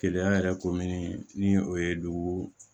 Keleya yɛrɛ komini ni o ye dugu